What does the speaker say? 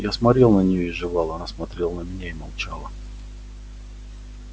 я смотрел на неё и жевал она смотрела на меня и молчала